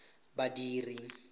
badiri